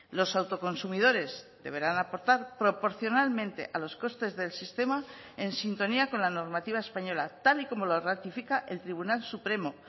los autoconsumidores deberán aportar proporcionalmente a los costes del sistema en sintonía con la normativa española tal y como lo ratifica el tribunal supremo